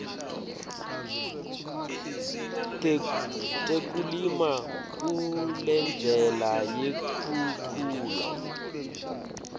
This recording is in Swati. tekulima kulendlela yekukhula